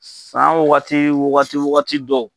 San wagati wagati wagati dɔw.